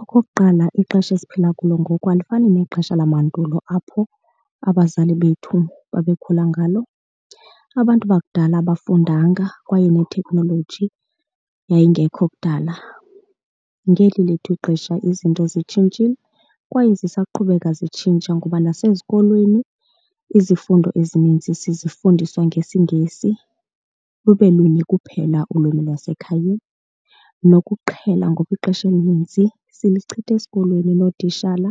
Okokuqala ixesha esiphila kulo ngoku alifani nexesha lamandulo apho abazali bethu babekhula ngalo. Abantu bakudala abafundanga kwaye neteknoloji yayingekho kudala. Ngeli lethu ixesha izinto zitshintshile kwaye zisaqhubeka zitshintsha ngoba nasezikolweni izifundo ezininzi sizifundiswa ngesiNgesi lube lunye kuphela ulwimi lwasekhayeni, nokuqhela ngoba ixesha elininzi sichilitha esikolweni nootishala